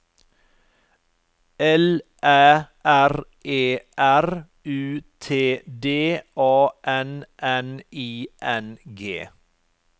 L Æ R E R U T D A N N I N G